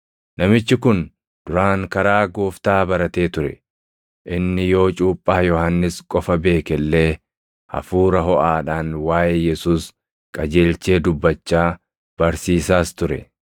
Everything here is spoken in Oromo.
Namichi kun duraan karaa Gooftaa baratee ture; inni yoo cuuphaa Yohannis qofa beeke illee hafuura hoʼaadhaan waaʼee Yesuus qajeelchee dubbachaa, barsiisaas ture.